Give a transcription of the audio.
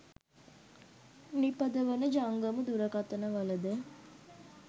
නිපදවන ජංගම දුරකථන වල ද